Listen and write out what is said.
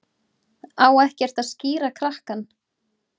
Á ekkert að skíra krakkann?